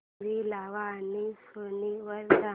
TV लाव आणि Sony वर जा